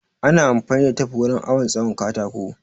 Ana amfani da tef wurin awon tsawon katako